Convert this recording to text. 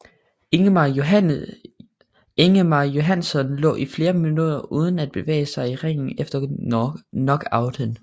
Ingemar Johannson lå i flere minutter uden at bevæge sig i ringen efter knockouten